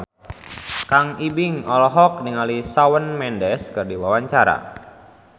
Kang Ibing olohok ningali Shawn Mendes keur diwawancara